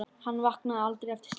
Hann vaknaði aldrei eftir slysið.